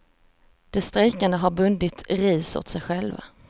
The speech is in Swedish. De strejkande har bundit ris åt sig själva.